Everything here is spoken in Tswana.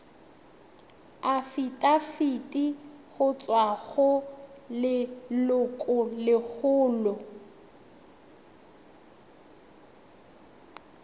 afitafiti go tswa go lelokolegolo